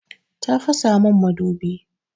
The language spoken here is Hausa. Ta fasa min madubi.